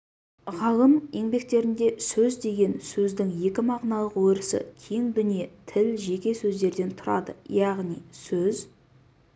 ғалым еңбектерінде сөз деген сөздің өзі мағыналық өрісі кең дүние тіл жеке сөздерден тұрады яғни сөз